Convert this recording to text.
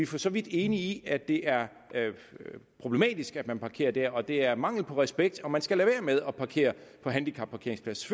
for så vidt enige i at det er problematisk at man parkerer der og det er mangel på respekt og man skal lade være med at parkere på handicapparkeringsplads